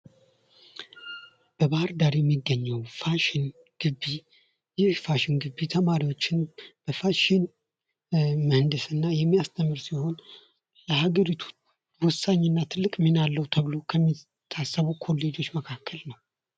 በባህር ዳር የሚገኘው ፋሽን ግቢ ይህ ፋሽን ግቢ ተማሪዎችን በፋሽን ምሕድስና የሚያስተምር ሲሆን የሀገሪቱ ትልቅ እና ወሳኝ ሚና ተብሎ ከሚታሰቡ ኮሌጆች መካከል ነው::